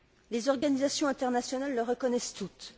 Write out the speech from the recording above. Les organisations internationales le reconnaissent toutes.